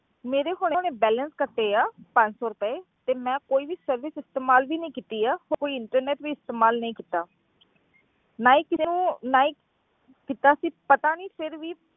ਮੇਰੇ ਹੁਣੇ ਹੁਣੇ balance ਕੱਟੇ ਆ ਪੰਜ ਸੌ ਰੁਪਏ ਤੇ ਮੈਂ ਕੋਈ ਵੀ service ਇਸਤੇਮਾਲ ਵੀ ਨੀ ਕੀਤੀ ਆ, ਕੋਈ entertainment ਵੀ ਇਸਤੇਮਾਲ ਨਹੀਂ ਕੀਤਾ ਨਾ ਹੀ ਕਿਸੇ ਨੂੰ ਨਾ ਹੀਂ ਕੀਤਾ ਸੀ ਪਤਾ ਨੀ ਫਿਰ ਵੀ,